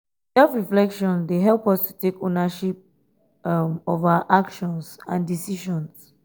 self-reflection dey help us to take ownership um of our actions and decisions.